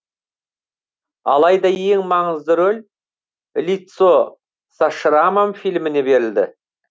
алайда ең маңызды рөл лицо со шрамам фильміне беріледі